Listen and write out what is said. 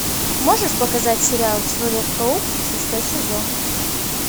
можешь показать сериал человек паук шестой сезон